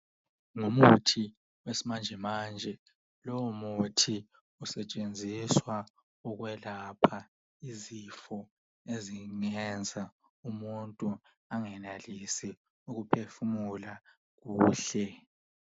ngumuthi wesimanjemanje lowu muthi usetshenziswa ukwelapha izifo ezingenza umuntu engenelisi ukuphefumula kuhle